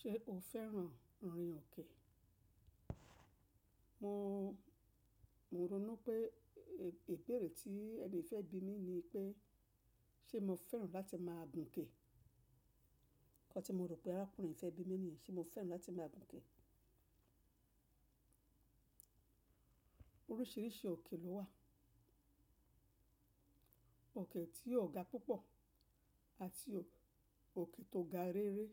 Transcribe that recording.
Ṣé o fẹ́ràn rìn òkè? Mo, mo ronú pé ibeére tí ẹni fẹ́ bi mi ni pé, ṣe mo fẹ́ràn láti máa gun ke. Kọ́ tí mo rò pé arákùnrin fẹ́ bi mi ni, ṣe mo fẹ́ràn láti máa gun ke. Oríṣìíríṣìí òkè ló wà. Òkè tí ó ga púpọ̀ àti òkè tó ga rere.